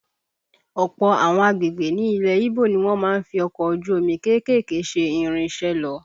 Ọ̀pọ̀ àwọn agbègbè ní ilẹ̀ Íbò ni wọ́n má ń fi ọkọ̀ ojú omi kéékèèké ṣe ìrìnsẹ̀ lọ